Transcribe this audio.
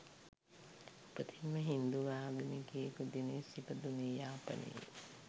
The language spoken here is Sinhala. උපතින්ම හින්දු ආගමිකයෙකු දිනේෂ් ඉපදුනේ යාපනයේ